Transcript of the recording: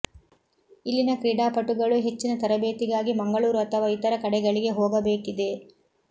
ಇಲ್ಲಿನ ಕ್ರೀಡಾಪಟುಗಳು ಹೆಚ್ಚಿನ ತರಬೇತಿಗಾಗಿ ಮಂಗಳೂರು ಅಥವಾ ಇತರ ಕಡೆಗಳಿಗೆ ಹೋಗಬೇಕಿದೆ